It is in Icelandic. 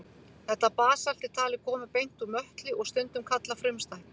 Þetta basalt er talið koma beint úr möttli og stundum kallað frumstætt.